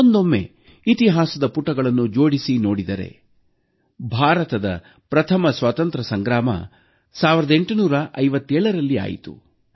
ಒಂದೊಮ್ಮೆ ಇತಿಹಾಸದ ಪುಟಗಳನ್ನು ಜೋಡಿಸಿ ನೋಡಿದರೆ ಭಾರತದ ಪ್ರಥಮ ಸ್ವಾತಂತ್ರ್ಯ ಸಂಗ್ರಾಮ 1857ರಲ್ಲಿ ಆಯಿತು